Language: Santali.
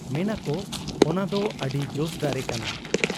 ᱢᱮᱱᱟᱠᱚ ᱚᱱᱟᱫᱚ ᱟᱹᱰᱤ ᱡᱚᱥ ᱫᱟᱨᱮ ᱠᱟᱱᱟ ᱾